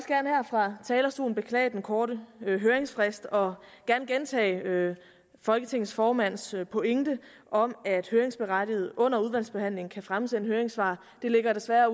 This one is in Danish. fra talerstolen beklage den korte høringsfrist og gentage folketingets formands pointe om at høringsberettigede under udvalgsbehandlingen kan fremsende høringssvar det ligger desværre